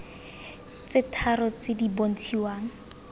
tse tharo tse di bontshiwa